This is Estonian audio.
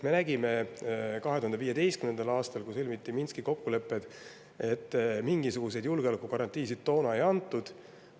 Me nägime 2015. aastal, kui sõlmiti Minski kokkulepped, et mingisuguseid julgeolekugarantiisid toona ei antud.